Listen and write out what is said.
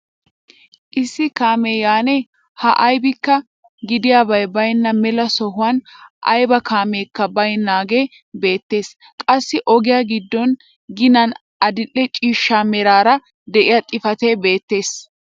Issi kaamee yaanne haa aybikka giddiyaabi baynna mela sohuwaan ayba kaameekka baynnaagee beettees. qassi ogiyaa giddo ginan adil'e ciishsha meraara de'iyaa xifatee beettees.